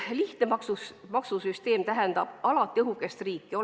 Lihtne maksusüsteem tähendab alati õhukest riiki.